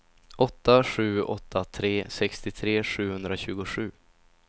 åtta sju åtta tre sextiotre sjuhundratjugosju